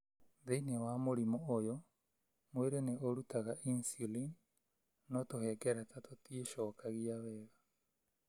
Thĩinĩ wa mũrimũ ũyũ, mwĩrĩ nĩ ũrutaga insulin, no tũhengereta tũtiĩcokagia wega